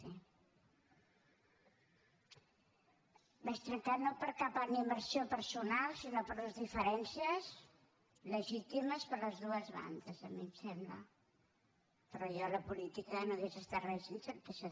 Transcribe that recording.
vaig trencar no per cap animadversió personal sinó per unes diferències legítimes per les dues bandes a mi em sembla però jo a la política no hauria estat res sense el psc